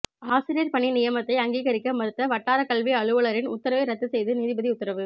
ஆசிரியர் பணி நியமனத்தை அங்கீகரிக்க மறுத்த வட்டார கல்வி அலுவலரின் உத்தரவை ரத்து செய்து நீதிபதி உத்தரவு